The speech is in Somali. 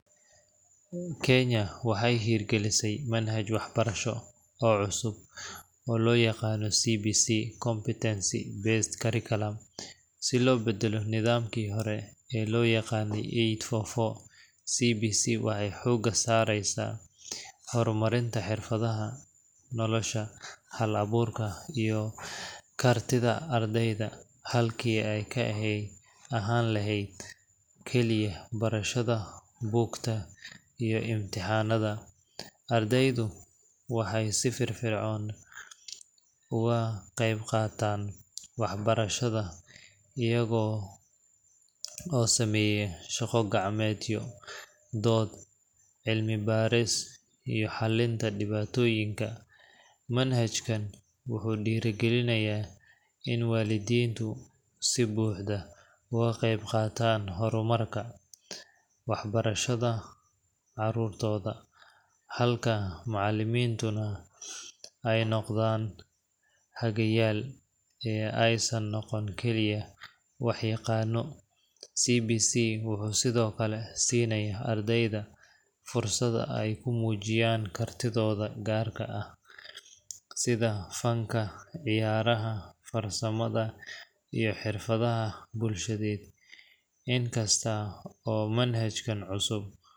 Kenya waxay hirgelisay manhaj waxbarasho oo cusub oo loo yaqaan CBC – Competency Based Curriculum, si loo beddelo nidaamkii hore ee loo yaqaanay eight-four-four. CBC waxay xoogga saaraysaa horumarinta xirfadaha nolosha, hal-abuurka, iyo kartida ardayda, halkii ay ka ahaan lahayd kaliya barashada buugta iyo imtixaannada. Ardaydu waxay si firfircoon uga qaybqaataan waxbarashada iyaga oo sameeya shaqo gacmeedyo, dood, cilmi baaris, iyo xallinta dhibaatooyinka. Manhajkan wuxuu dhiirrigelinayaa in waalidiintu si buuxda uga qaybqaataan horumarka waxbarashada carruurtooda, halka macallimiintuna ay noqdaan hagayaal, ee aysan noqon keliya wax-yaqaanno. CBC wuxuu sidoo kale siinayaa ardayda fursad ay ku muujiyaan kartidooda gaar ah sida fanka, ciyaaraha, farsamada, iyo xirfadaha bulsheed. Inkasta oo manhajkan cusub.